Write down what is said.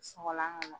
Sɔgɔlan ka na